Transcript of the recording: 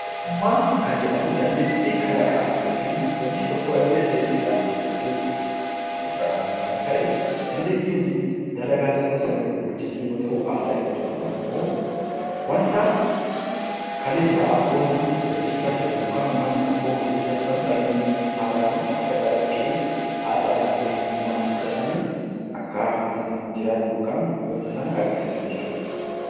Ogummaa kan jedhamu dandeettii kalaqaa yookiin hojii tokko irra deddeebiin hojjachuu irraan kan ka'e dandeettii dalagaa tokko sirriitti dalaguu yoo ta'u, aadaa jechuun immoo kaleessa abboonni hojjachaa turan yookaan uummanni tokko hojjachaa turan Akka calaqqee aadaa , eenyummaatti fudhatanii akkaataa saniin jiraachuu yookiin wanta sana agarsiisuu jechuudha.